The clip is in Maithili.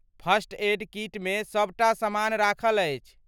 फर्स्ट एड कीटमे सभ टा सामान राखल अछि।